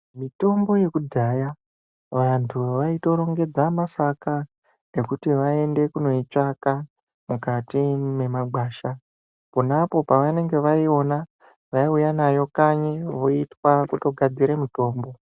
Mitombo yekudhaya vantu vaitorengedza masaka ekuti vaende kunoitsvaga pakati memagwasha ponapo pavanenge vaiona vaiuya nayo kanyi voitwa votogadzire mitombo.